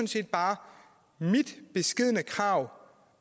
set bare mit beskedne krav